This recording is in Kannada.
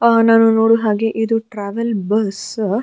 ಆ ನಾನು ನೋಡುವ ಹಾಗೆ ಇದು ಟ್ರ್ಯಾವೆಲ್ ಬಸ್ಸ್ --